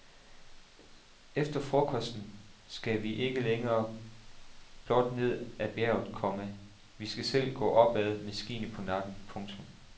Efter frokosten skal vi ikke længere blot ned ad bjerget, komma vi skal selv gå opad med skiene på nakken. punktum